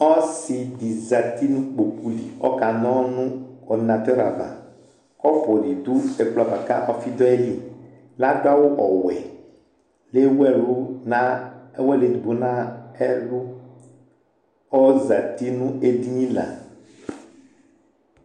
Ɔsɩ zati nʋ ƙpoƙu li ,ɔƙa na ɔlʋ nʋ ɔrɖɩnatʋr avaƘɔpʋ nɩ ɖʋ ɛƙplɔ ava ƙa ɔfɩ ɖʋ aƴiliL'aɖʋ awʋ ɔwɛ,l' ewu ɛlʋ eɖigbo nʋ ɛlʋƆzati nʋ eɖini la